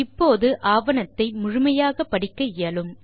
இப்போது ஆவணத்தை முழுமையாக படிக்க இயலும்